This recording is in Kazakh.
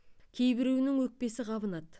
кейбіреуінің өкпесі қабынады